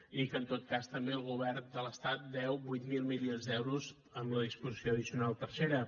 i que en tot cas també el govern de l’estat deu vuit mil milions d’euros amb la disposició addicional tercera